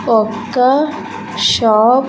ఒక షాప్ .